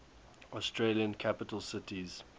australian capital cities